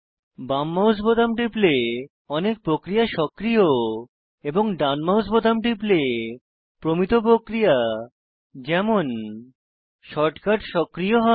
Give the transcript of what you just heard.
বাম মাউস বোতাম টিপলে অনেক প্রক্রিয়া সক্রিয় এবং ডান মাউস বাটন টিপলে প্রমিত প্রক্রিয়া যেমন শর্টকাট সক্রিয় হয়